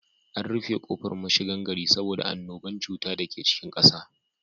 An rufe kofar mashigan gari saboda annuban cuta dake cikin ƙasa.